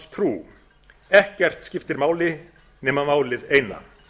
evrópusambandstrú ekkert skiptir máli nema málið eina